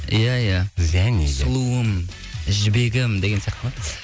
иә иә сұлуым жібегім деген сияқты ма